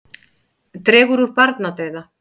Dregur úr barnadauða